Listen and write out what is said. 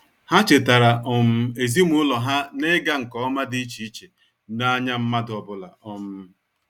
Ha chetara um ezimụlọ ha na-ịga nke ọma dị iche iche n'anya mmadụ ọbụla. um